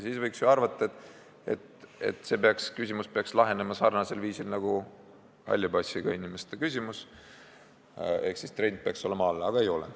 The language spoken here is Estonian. Seega võiks ju arvata, et see küsimus peaks lahenema sarnasel viisil nagu halli passiga inimeste küsimus ehk et trend peaks olema kahanemise suunas, aga ei ole.